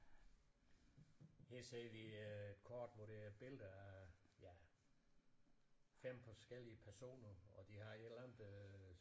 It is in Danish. Her ser vi et kort hvor der er billeder af ja 5 forskellige personer og de har et eller andet øh